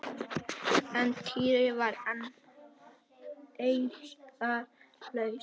En Týri var enn eirðarlaus.